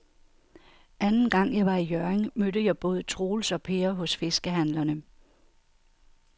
Anden gang jeg var i Hjørring, mødte jeg både Troels og Per hos fiskehandlerne.